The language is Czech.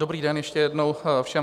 Dobrý den ještě jednou všem.